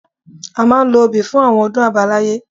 A máa ń lo obì fún àwọn ọdún àbáláyé